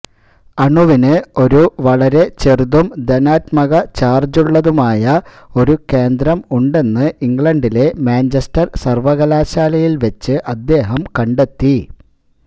അണുവിന് ഒരു വളരെ ചെറുതും ധനാത്മക ചാർജുള്ളതുമായ ഒരു കേന്ദ്രം ഉണ്ടെന്ന് ഇംഗ്ലണ്ടിലെ മാഞ്ചെസ്റ്റർ സർവകലാശാലയിൽ വെച്ച് അദ്ദേഹം കണ്ടെത്തി